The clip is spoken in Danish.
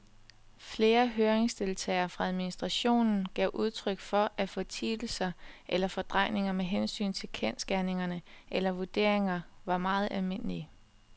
Flere høringsdeltagere fra administrationen gav udtryk for, at fortielser eller fordrejninger med hensyn til kendsgerninger eller vurderinger var meget almindelige.